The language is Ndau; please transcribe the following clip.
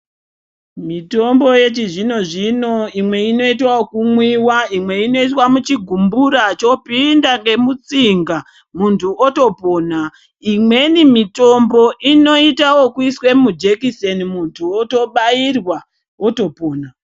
Mitombo yechizvinozvino imwe inoita vekumwiwa imwe inoiswa muchigumbura zvoinda ngemutsinga muntu otopora imweni mitombo inoite ekuiswe mujekiseni muntu otobairwa otopora